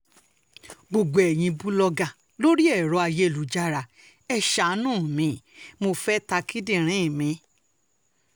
gbogbo eyín bùlọ́gà lórí ẹ̀rọ ayélujára ẹ̀ ṣààánú mi mo fẹ́ẹ̀ ta kíndìnrín mi